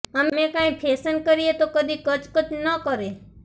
અમે કાંઈ ફેશન કરીએ તો કદી કચકચ ન કરે